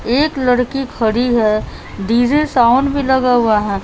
एक लड़की खड़ी है डी_जे साउंड भी लगा हुआ है।